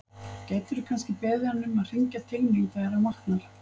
Gætirðu kannski beðið hann um að hringja til mín þegar hann vaknar?